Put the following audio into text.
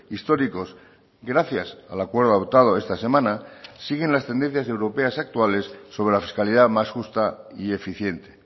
históricos gracias al acuerdo adoptado esta semana siguen las tendencias europeas actuales sobre la fiscalidad más justa y eficiente